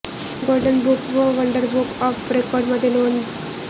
golden book व wonder book of रेकॉर्डमध्ये नोंद